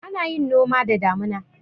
Ana yin noma da damuna.